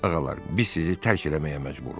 Ağalar, biz sizi tərk eləməyə məcburuq.